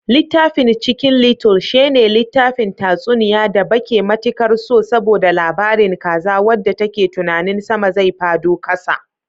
Littafin chicken little shene littafin tatsuniya da bake matikar so, saboda labarin kaza wanda take tunanin sama zai fado kasa.